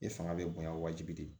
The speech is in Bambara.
E fanga bɛ bonya wajibi de